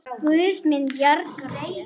Guð mun bjarga þér.